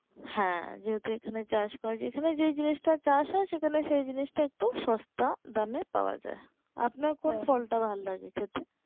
হ্যাঁ যেহুতু এখানে চাষ করে যেখানে যে জিনিসটা চাষ হয় সেখানেই ই জিনিসটা আর কি সস্তা কম দামে পাওয়া যায় আপনার কোন ফল টা ভালো লাগে খেতে?